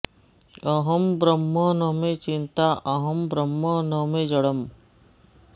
अहं ब्रह्म न मे चिन्ता अहं ब्रह्म न मे जडम्